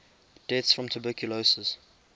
deaths from tuberculosis